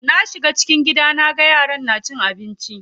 Na shiga cikin gidan naga yaran na cin abinci.